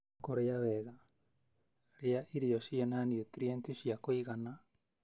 Kũrĩa wega: Rĩa irio cĩĩna niutrienti cia kũigana